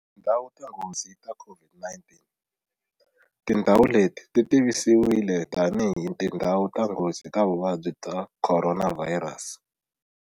Tindhawu ta nghozi ta COVID-19. Tindhawu leti ti tivisiwile tanihi tindhawu ta nghozi ta vuvabyi bya Khoronavhayirasi.